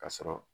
Ka sɔrɔ